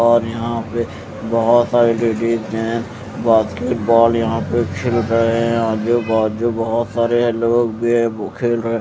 और यहाँ पे बहुत सारे लेडीज हैं बास्केटबॉल यहाँ पे खेले रहे हैं आजू बाजू बहुत सारे लोग भी हैं वो खेल रहे ह--